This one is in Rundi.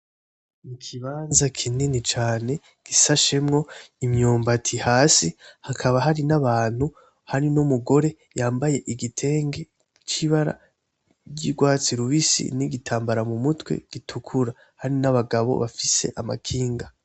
Ikibanza kinini cane gisashemwo imyumbati hasi hakaba hari n'abantu hari n'umugore yambaye igitenge c'ibara ry'ugwatsi rubisi n'igitambara mumutwe gitukura hari n'abagabo bafise amakinga.